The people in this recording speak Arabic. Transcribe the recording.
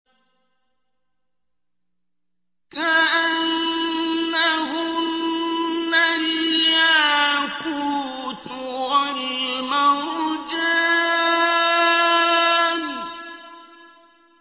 كَأَنَّهُنَّ الْيَاقُوتُ وَالْمَرْجَانُ